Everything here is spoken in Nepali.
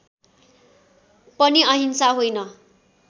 पनि अहिंसा होइन